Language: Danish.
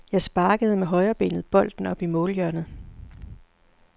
Jeg sparkede med højrebenet bolden op i målhjørnet.